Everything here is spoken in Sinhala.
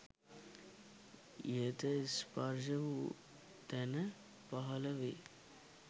ඉහත ස්පර්ශ වූ තැන පහලවේ